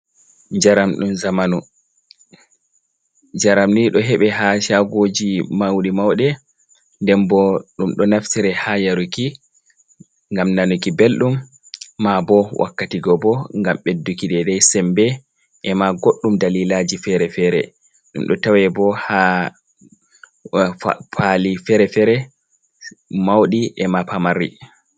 Njaramni ɗo heɓei ha shagoji mauɗe mauɗe, nden bo ɗum ɗo naftira ha yaruki ngam nanuki belɗum, maa bo wakkati go bo ngam beɗɗuki dedei sembe, e ma goɗɗum dalilaji fere-fere ɗum ɗo tawe bo ha pali fere-fere mauɗi e ma pamari.